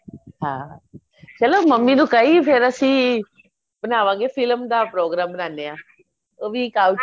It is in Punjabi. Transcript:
ਹਾਂ ਚਲੋ ਮਮੀ ਨੂੰ ਕਹੀ ਫੇਰ ਅਸੀਂ ਬਣਾਵਾਗੇ film ਦਾ program ਬਨਾਨੇ ਆ ਉਹ ਵੀ ਇੱਕ